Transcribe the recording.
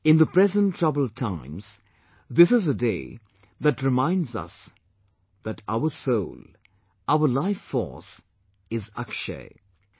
In the present troubled times, this is a day that reminds us that our soul, our lifeforce, is 'Akshay'